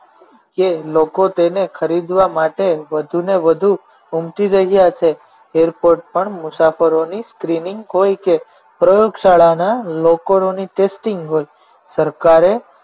કે લોકો તેને ખરીદવા માટે વધુને વધુ ઉમટી રહ્યા છે airport પર પણ મુસાફરોની skinning હોય કે પ્રયોગશાળાના લોકરોની testing હોય સરકારે